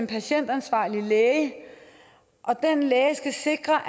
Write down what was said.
patientansvarlige læge skal sikre